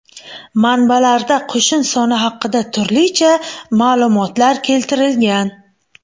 Manbalarda qo‘shin soni haqida turlicha ma’lumotlar keltirilgan.